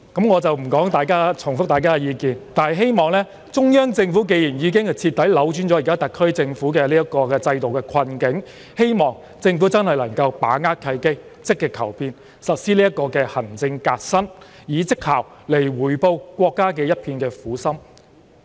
我不重複大家的意見了，但既然中央政府已經徹底扭轉現時特區政府的制度困境，希望政府真的能夠把握契機，積極求變，實施行政革新，以績效來回報國家的一片苦心。